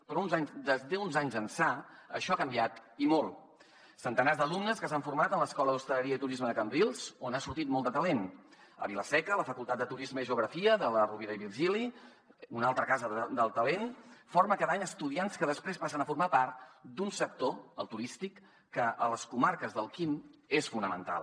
però d’uns anys ençà això ha canviat i molt centenars d’alumnes s’han format en l’escola d’hostaleria i turisme de cambrils on ha sortit molt de talent a vila seca la facultat de turisme i geografia de la rovira i virgili un altre cas de talent forma cada any estudiants que després passen a formar part d’un sector el turístic que a les comarques del quim és fonamental